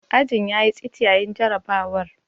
Ajin ya yi tsit yayin jarrabawar.